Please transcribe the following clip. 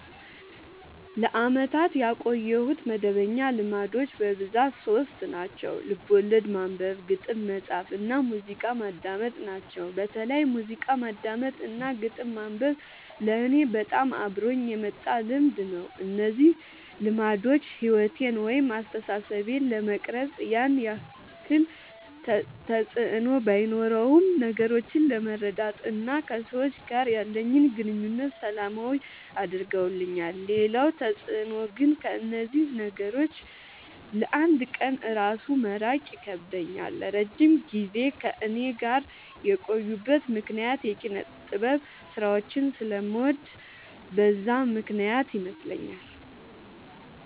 ለአመታት ያቆየሁት መደበኛ ልማዶች በብዛት ሶስት ናቸው። ልቦለድ ማንበብ፣ ግጥም መፃፍ እና ሙዚቃ ማዳመጥ ናቸው። በተለይ ሙዚቃ ማዳመጥ እና ግጥም ማንበብ ለኔ በጣም አብሮኝ የመጣ ልምድ ነው። እነዚህ ልማዶች ሕይወቴን ወይም አስተሳሰቤን ለመቅረጽ ያን ያክል ተፅዕኖ ባኖረውም ነገሮችን ለመረዳት እና ከሰዎች ጋር ያለኝን ግንኙነት ሰላማዊ አድርገውልኛል ሌላው ተፅዕኖ ግን ከእነዚህ ነገሮች ለ አንድ ቀን እራሱ መራቅ ይከብደኛል። ለረጅም ጊዜ ከእኔ ጋር የቆዩበት ምክንያት የኪነጥበብ ስራዎችን ስለምወድ በዛ ምክንያት ይመስለኛል።